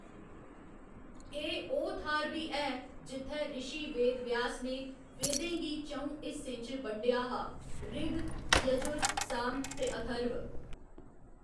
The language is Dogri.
एह्‌‌ ओह्‌‌ थाह्‌‌‌र बी ऐ जित्थै रिशी वेदव्यास ने वेदें गी च'ऊं हिस्सें च बंडेआ हा ऋग, यर्जु, साम ते अथर्व।